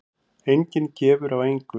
Enginn gefur af engu.